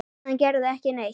Hann gerði ekki neitt.